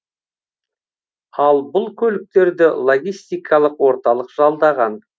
ал бұл көліктерді логистикалық орталық жалдаған